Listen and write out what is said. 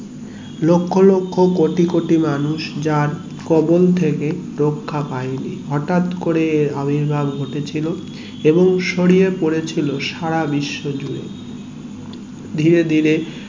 লক্ষ লক্ষ কোটিকোটি যার খবল থেকে রাখা পাইনি হটাৎ করে আবির্ভাব ঘটে ছিলো এবং ছড়িয়ে পড়েছিল সারা বিশ্ব জুড়ে ধীরে ধীরে